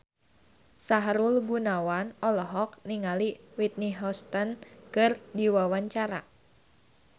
Sahrul Gunawan olohok ningali Whitney Houston keur diwawancara